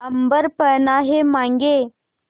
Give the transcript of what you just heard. अम्बर पनाहे मांगे